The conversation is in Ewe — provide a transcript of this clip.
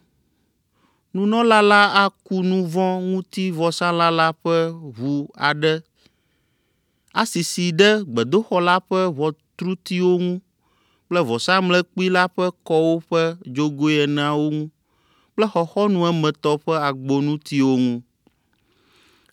Nunɔla la aku nu vɔ̃ ŋuti vɔsalã la ƒe ʋu aɖe asisi ɖe gbedoxɔ la ƒe ʋɔtrutiwo ŋu kple vɔsamlekpui la ƒe kɔwo ƒe dzogoe eneawo ŋu kple xɔxɔnu emetɔ ƒe agbonutiwo ŋu.